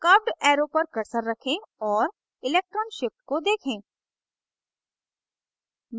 curved arrow पर cursor रखें और electron shift को देखें